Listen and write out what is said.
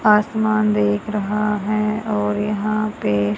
आसमान देख रहा है और यहाँ पे--